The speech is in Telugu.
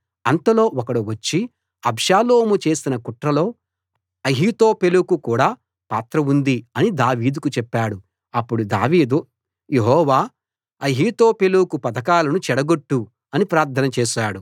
అంతలో ఒకడు వచ్చి అబ్షాలోము చేసిన కుట్రలో అహీతోపెలుకు కూడా పాత్ర ఉంది అని దావీదుకు చెప్పాడు అప్పుడు దావీదు యెహోవా అహీతోపెలు పథకాలను చెడగొట్టు అని ప్రార్థన చేశాడు